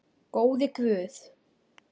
Góði Guð.